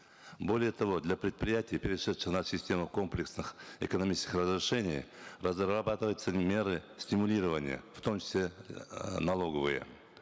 более того для предприятий перешедших на систему комплексных экономических разрешений разрабатываются меры стимулирования в том числе э налоговые